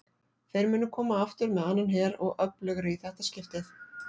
Þeir munu koma aftur með annan her og öflugri í þetta skiptið!